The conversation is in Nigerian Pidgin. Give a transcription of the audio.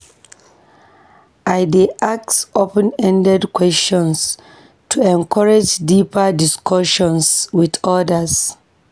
I dey ask open-ended questions to encourage deeper discussions with others